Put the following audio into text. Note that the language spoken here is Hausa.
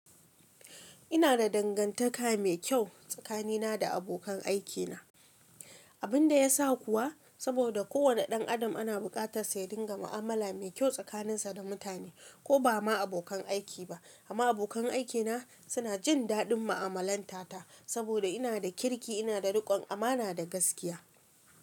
Ina da dangantaka mai kyau tsakanina da abokan aikina. Abinda yasa kuwa, saboda kowane ɗan Adam ana bukatar sa ya dinga mu'alama mai kyau da mutane koh da ma ba abokan aiki ba. Amma abokan aikina suna jin daɗin mu'amalantata saboda ina da kirki, ina da rikon amana da gaskiya.